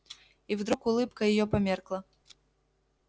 и вдруг улыбка её померкла